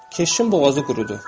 Keşin boğazı qurudu.